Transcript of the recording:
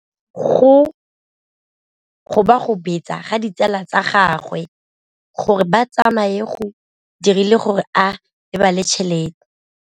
Go gobagobetsa ga ditsala tsa gagwe, gore ba tsamaye go dirile gore a lebale tšhelete.